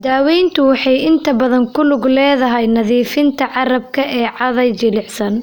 Daaweyntu waxay inta badan ku lug leedahay nadiifinta carrabka ee caday jilicsan.